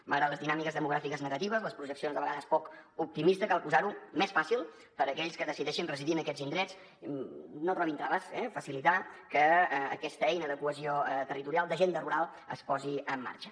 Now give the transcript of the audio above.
malgrat les dinàmiques demogràfiques negatives les projeccions de vegades poc optimistes cal posar ho més fàcil per a aquells que decideixin residir en aquests indrets que no trobin traves facilitar que aquesta eina de cohesió territorial d’agenda rural es posi en marxa